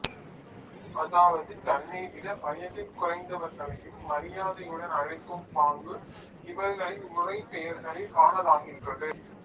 அதாவது தன்னைவிட வயதில் குறைந்தவர்களையும் மரியாதையுடன் அழைக்கும் பாங்கு இவர்களின் முறைப்பெயர்களில் காணலாகின்றது